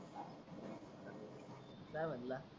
काय म्हणला